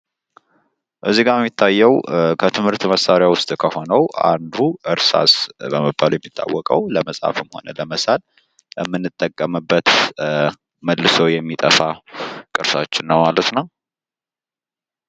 እዚጋ የሚታየው ከትምህርት መሳሪያ ውስጥ ከሆነው አንዱ እርሳስ በመባል የሚታወቀው ለመጻፍም ሆነ ለመሳል የምንጠቀምበት ፣ መልሶ የሚጠፋ ቅርሳችን ነው ማለት ነው።